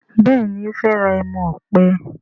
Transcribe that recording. Béèni o fè rà ẹmu òpè.